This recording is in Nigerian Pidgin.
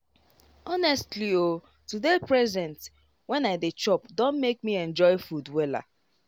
honestly o to dey present when i dey chop don make me enjoy food wella.